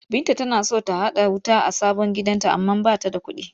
Binta tana son ta haɗa wuta a sabon gidanta amma ba ta da kuɗi.